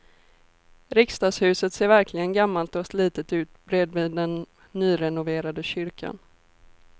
Riksdagshuset ser verkligen gammalt och slitet ut bredvid den nyrenoverade kyrkan.